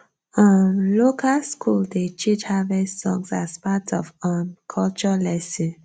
um local school dey teach harvest songs as part of um culture lesson